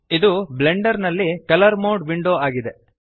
ಇದು ಬ್ಲೆಂಡರ್ನಲ್ಲಿ colour mode window ಆಗಿದೆ